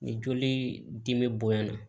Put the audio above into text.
Ni joli dimi bonyana